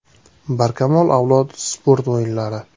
“Barkamol avlod” sport o‘yinlari.